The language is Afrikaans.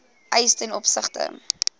eis ten opsigte